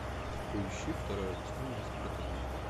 поищи второе восстание спартака